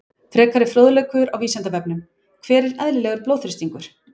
Frekari fróðleikur á Vísindavefnum: Hver er eðlilegur blóðþrýstingur?